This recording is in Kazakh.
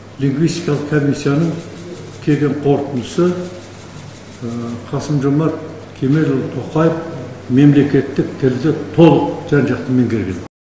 лингвистикалық комиссияның келген қорытындысы қасым жомарт кемелұлы тоқаев мемлекеттік тілді толық жан жақты меңгерген